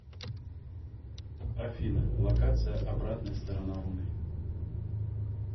афина локация обратная сторона луны